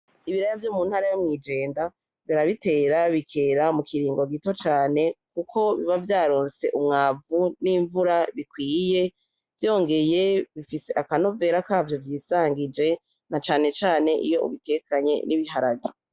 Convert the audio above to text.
Ibiraya vyo mu ntara yo mw’ijenda barabitera bikera mu kiringo gito cane kuko biba vyaronse umwavu n’invura bikwiye vyongeye bifise akanovera ka vyo vyisangije na cane cane iyo ubitekanye n’ibiharage.